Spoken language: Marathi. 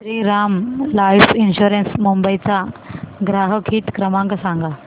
श्रीराम लाइफ इन्शुरंस मुंबई चा ग्राहक हित क्रमांक सांगा